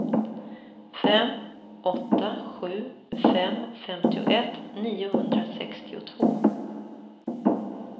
fem åtta sju fem femtioett niohundrasextiotvå